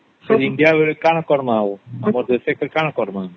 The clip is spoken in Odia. ତ India ବେଳେ କଣ କରମା ଆମ ଦେଶ କଣ କରମା ?